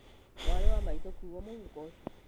Mwarĩ wa maitũ kuua mũhuko ũcio